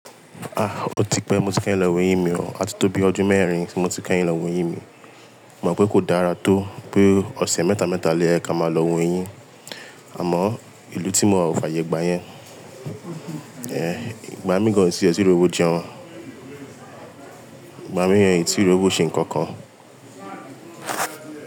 Ah! O ti pẹ́ mo ti fẹ́ lọ wo eyin mi o. A ti tó bí ọdún mẹ́rin tí mo ti kẹ́yìn lọ wo eyin mi. Mo mọ̀ pé kò dára tó pé ọ̀sẹ̀ mẹ́ta mẹ́ta lo ye ká máa lọ wo eyin, àmọ́ ìlú tí mo wà ò fàyè gbáyẹn. Ẹ̀, ìgbà mí gàn ẹ tí e ti rówò jẹun. Ìgbà mí ẹ ti rowò ṣe nǹkan kan.